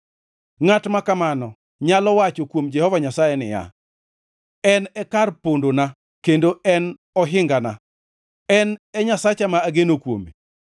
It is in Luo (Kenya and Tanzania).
Ngʼat ma kamano nyalo wacho kuom Jehova Nyasaye niya, “En e kar pondona kendo en e ohingana, en e Nyasacha ma ageno kuome.”